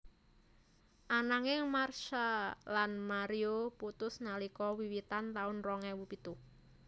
Ananging Marsha lan Mario putus nalika wiwitan taun rong ewu pitu